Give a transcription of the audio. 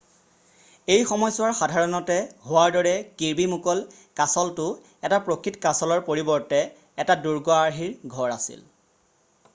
এই সময়ছোৱাৰ সাধাৰণতে হোৱাৰ দৰে কিৰ্বি মুকল' কাছলটো এটা প্ৰকৃত কাছলৰ পৰিৱৰ্তে এটা দুৰ্গ আৰ্হিৰ ঘৰ আছিল